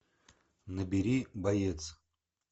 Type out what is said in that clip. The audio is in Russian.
набери боец